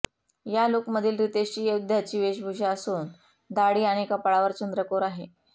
या लुकमधील रितेशची योद्ध्याची वेशभूषा असून दाढी आणि कपाळावर चंद्रकोर आहे